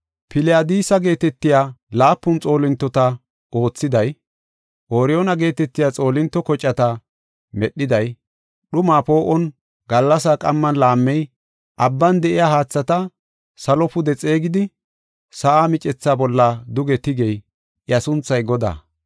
Piliyadisa geetetiya laapun xoolintota oothiday, Ooriyoona geetetiya xoolinto kocata medhiday, dhumaa poo7on, gallasa qamman laammey, abban de7iya haathata salo pude xeegidi, sa7a micetha bolla duge tigey, iya sunthay Godaa.